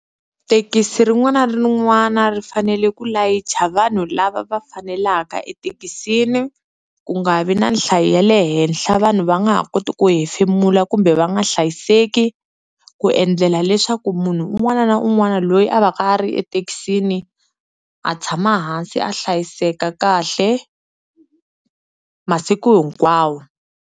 Thekisi rin'wana na rin'wana ri fanele ku layicha vanhu lava va fanelaka ethekisini ku nga vi na nhlayo ya le henhla vanhu va nga ha koti ku hefemula kumbe va nga hlayiseki, ku endlela leswaku munhu un'wana na un'wana loyi a va ka a ri ethekisini a tshama hansi a hlayiseka kahle masiku hinkwawo.